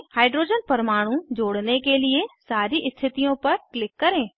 hydrogen परमाणु जोड़ने के लिए सारी स्थितियों पर क्लिक करें